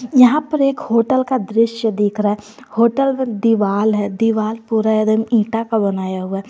यहां पर एक होटल का दृश्य दिख रहा है होटल में दीवाल है दीवाल पूरा एदम ईटा का बनाया हुआ है।